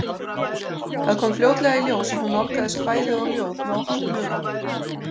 Það kom fljótlega í ljós að hún nálgaðist kvæði og ljóð með opnum huga.